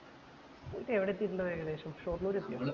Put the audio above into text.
ന്നീട് എവിടെ എത്തീട്ട് ഇണ്ടാവും ഏകദേശം ഷൊർണൂർ എത്തിയോ